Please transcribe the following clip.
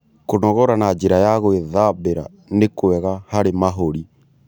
Kũnogora na njĩra ya gwĩthambĩra nĩ kwega harĩ mahũrĩ